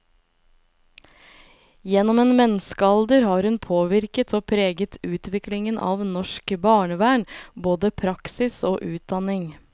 Gjennom en menneskealder har hun påvirket og preget utviklingen av norsk barnevern, både praksis og utdanning.